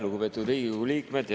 Lugupeetud Riigikogu liikmed!